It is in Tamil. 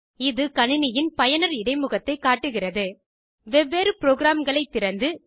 இது கணினியின் பயனர் இடைமுகத்தைக் காட்டுகிறது வெவ்வேறு ப்ரோகிராம்களை திறந்து